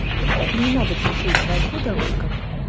тебе не надо терпетьгода водка